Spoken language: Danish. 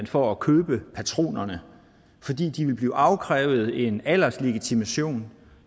for at købe patronerne fordi der vil blive afkrævet en alderslegitimation